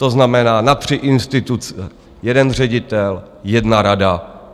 To znamená na tři instituce jeden ředitel, jedna rada.